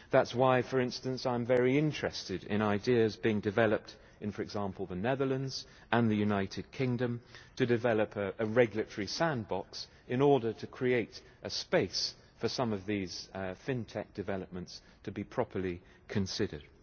That is why, for instance, I am very interested in ideas being developed in, for example, the Netherlands and the United Kingdom, to develop a regulatory sandbox, in order to create a space for some of these FinTech developments to be properly considered.